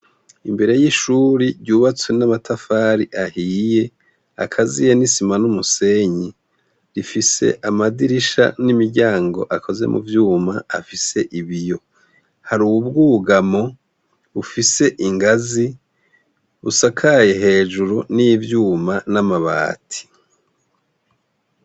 Imbere y'ishure ryubatswe n'amatafari ahiye, akaziye nisima n'umusenyi, rifise amadirisha n'imiryango akoze mu vyuma afise ibiyo. Harubwugamo bufise ingazi busakaye hejuru ni vyuma n'amabati.